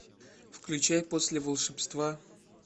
включай после волшебства